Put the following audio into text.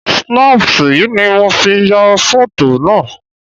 Snapṣayì ni mo fi ya fọ̀. tò naa